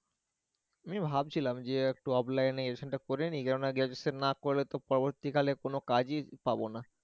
আমিও ভাবছিলাম যে একটু offline এ graduation টা করে নি, কেননা graduation না করলে তো পরবর্তী কালে কোনো কাজই পাবো না